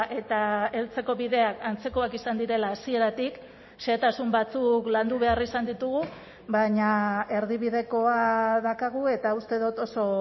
eta heltzeko bideak antzekoak izan direla hasieratik xehetasun batzuk landu behar izan ditugu baina erdibidekoa daukagu eta uste dut oso